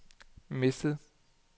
mistet